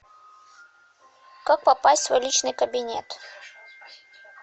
как попасть в свой личный кабинет